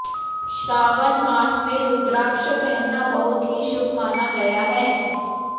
श्रावन मास में रुद्राक्ष पहनना बहुत ही शुभ माना गया है